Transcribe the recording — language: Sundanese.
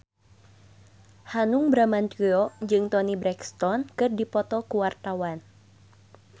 Hanung Bramantyo jeung Toni Brexton keur dipoto ku wartawan